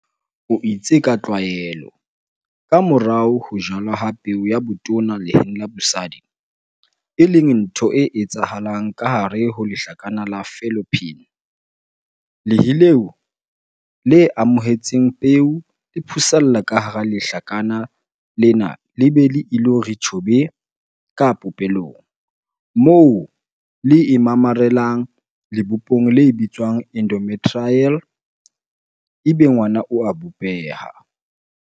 O itse ka tlwaelo, kamorao ho ho jalwa ha peo ya botona leheng la bosadi - e leng ntho e etsahalang kahare ho lehlakana la fallopian, lehe leo le amohetseng peo le phusalla kahara lehlakana lena le be le ilo re tjhobe ka popelong, moo le imamarelang lebopong le bitswang endometrial ebe ngwana o a bopeha.